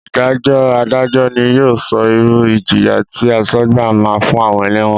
Ìdájọ́ Adájọ́ ni yóò sọ irú ìjìyà tí asọ́gbà máa fún àwọn ẹlẹ́wọ̀n